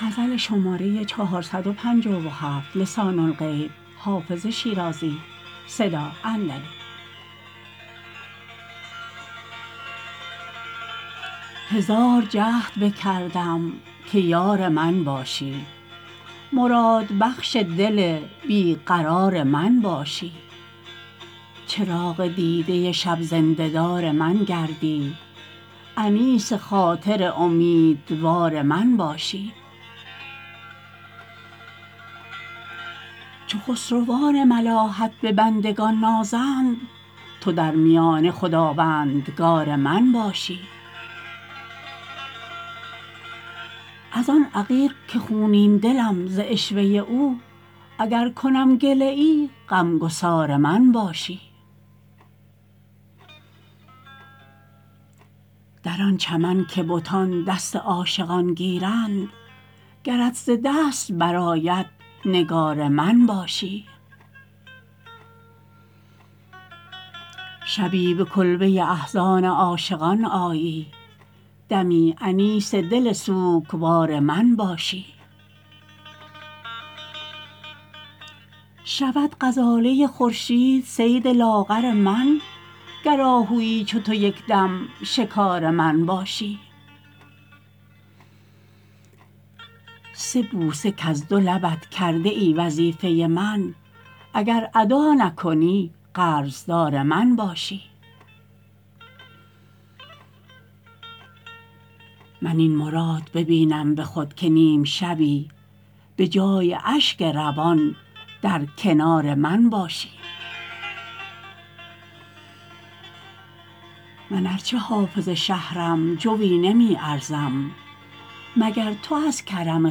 هزار جهد بکردم که یار من باشی مرادبخش دل بی قرار من باشی چراغ دیده شب زنده دار من گردی انیس خاطر امیدوار من باشی چو خسروان ملاحت به بندگان نازند تو در میانه خداوندگار من باشی از آن عقیق که خونین دلم ز عشوه او اگر کنم گله ای غم گسار من باشی در آن چمن که بتان دست عاشقان گیرند گرت ز دست برآید نگار من باشی شبی به کلبه احزان عاشقان آیی دمی انیس دل سوگوار من باشی شود غزاله خورشید صید لاغر من گر آهویی چو تو یک دم شکار من باشی سه بوسه کز دو لبت کرده ای وظیفه من اگر ادا نکنی قرض دار من باشی من این مراد ببینم به خود که نیم شبی به جای اشک روان در کنار من باشی من ار چه حافظ شهرم جویی نمی ارزم مگر تو از کرم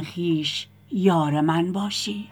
خویش یار من باشی